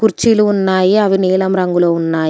కుర్చీలు ఉన్నాయి అవి నీలం రంగులో ఉన్నాయ్.